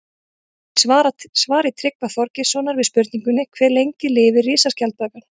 Í svari Tryggva Þorgeirssonar við spurningunni Hve lengi lifir risaskjaldbakan?